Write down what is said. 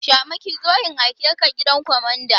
Shamaki zo in aike ka gidan kwamanda!